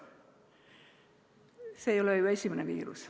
See ei ole ju esimene viirus.